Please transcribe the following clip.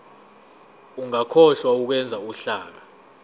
ungakhohlwa ukwenza uhlaka